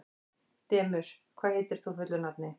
Demus, hvað heitir þú fullu nafni?